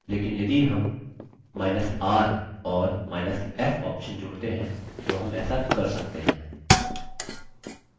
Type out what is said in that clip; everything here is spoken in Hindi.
लेकिन यदि हमr औरf option जोड़ते हैं तो हम ऐसा कर सकते हैं